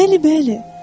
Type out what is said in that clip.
Bəli, bəli.